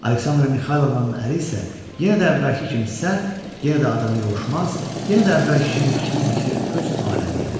Aleksandra Mixaylovnanın əri isə yenə də əvvəlki kimi sərt, yenə də adama yovuşmaz, yenə də əvvəlki kimi fikri-zikri öz aləmi idi.